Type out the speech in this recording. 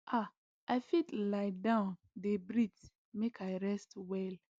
ah i fit lie down dey breathe make i rest well